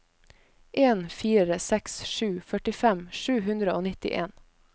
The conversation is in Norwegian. en fire seks sju førtifem sju hundre og nittien